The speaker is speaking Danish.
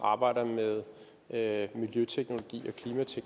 jeg at negligere